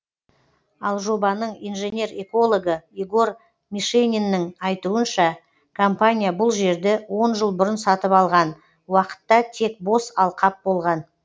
ал жобаның инженер экологы егор мишениннің айтуынша компания бұл жерді он жыл бұрын сатып алған уақытта тек бос алқап болған